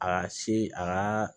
A ka si a ka